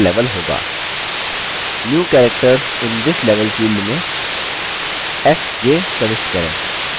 new characters in this level field में fj प्रविष्ट करें